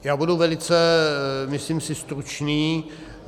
Já budu velice, myslím si, stručný.